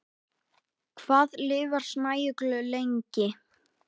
Hvað lifir snæugla lengi?